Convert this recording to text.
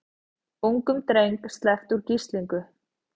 Ungum dreng sleppt úr gíslingu